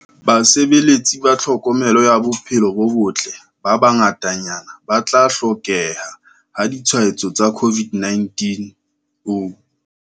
Basebeletsi ba tlhokomelo ya bophelo bo botle ba bangatanyana ba tla hlokeha ha ditshwaetso tsa COVID-19.